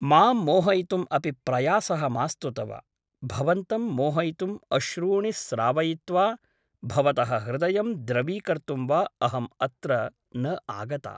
मां मोहयितुम् अपि प्रयासः मास्तु तव भवन्तं मोहयितुम् अश्रूणि स्त्रावयित्वा भवतः हृदयं द्रवीकर्तुं वा अहम् अत्र न आगता ।